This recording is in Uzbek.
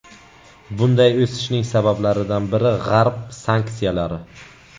Bunday o‘sishning sabablaridan biri G‘arb sanksiyalari.